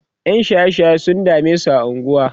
ƴan shaye shaye sun damesu a unguwa